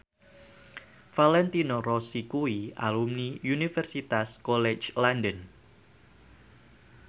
Valentino Rossi kuwi alumni Universitas College London